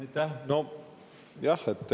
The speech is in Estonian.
Aitäh!